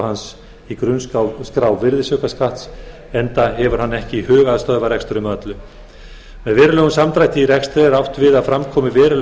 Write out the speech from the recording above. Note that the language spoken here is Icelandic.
hans í grunnskrá virðisaukaskatts enda hafi hann ekki hug á að stöðva reksturinn með öllu með verulegum samdrætti í rekstri er átt við að fram komi veruleg